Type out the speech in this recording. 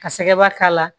Ka sɛgɛba k'a la